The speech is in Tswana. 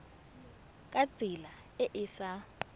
ka tsela e e sa